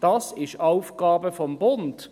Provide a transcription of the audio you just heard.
Das ist Aufgabe des Bundes.